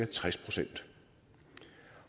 tres procent